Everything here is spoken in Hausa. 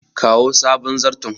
kawo sabon zarton